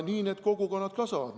Nii need kogukonnad kasvavad.